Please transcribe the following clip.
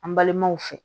An balimaw fɛ